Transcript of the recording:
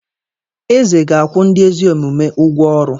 Eze ga-akwụ ndị ezi omume ụgwọ ọrụ.